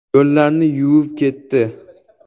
Yo‘llarni yuvib ketdi.